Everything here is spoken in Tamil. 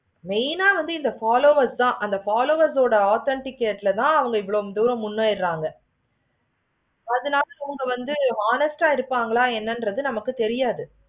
main ஆஹ் இந்த followers தான் அந்த followers ஓட authentication ல இவ்வளோ தூரம் முன்னேறுறாங்க. அதுனால இவுங்க வந்து honest ஆஹ் இருப்பாங்களா என்னென்னு தெரியாது.